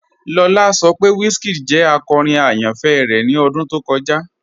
Lọlá sọ pé WizKid jẹ akọ́rin ayánfẹ́ rẹ ni ọdún tó kọja.